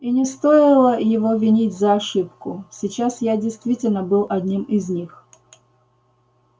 и не стоило его винить за ошибку сейчас я действительно был одним из них